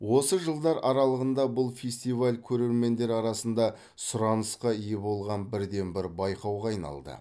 осы жылдар аралығында бұл фестиваль көрермендер арасында сұранысқа ие болған бірден бір байқауға айналды